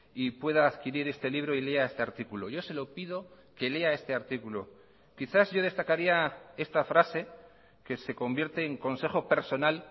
y pueda adquirir este libro y lea este artículo yo se lo pido que lea este artículo quizás yo destacaría esta frase que se convierte en consejo personal